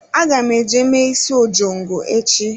Aga m eje mee isi ojongo echi.